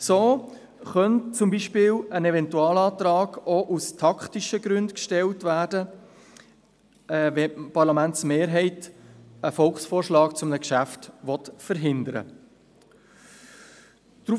So könnte zum Beispiel ein Eventualantrag auch aus taktischen Gründen gestellt werden, wenn die Parlamentsmehrheit einen Volksvorschlag zu einem Geschäft verhindern will.